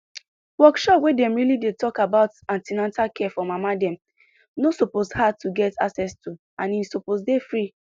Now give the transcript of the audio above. workshop wey dem really dey talk about an ten atal care for mama dem no suppose hard to get access to and e suppose dey free